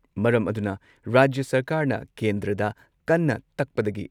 ꯃꯔꯝ ꯑꯗꯨꯅ ꯔꯥꯖ꯭ꯌ ꯁꯔꯀꯥꯔꯅ ꯀꯦꯟꯗ꯭ꯔꯗ ꯀꯟꯅ ꯇꯛꯄꯗꯒꯤ